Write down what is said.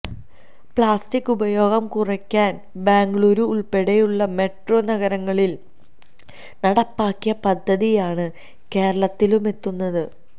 plastic ഉപയോഗം കുറയ്ക്കാന് ബെംഗളുരു ഉള്പ്പടെയുള്ള മെട്രോ നഗരങ്ങളില് നടപ്പാക്കിയ പദ്ധതിയാണ് കേരളത്തിലുമെത്തുന്നത്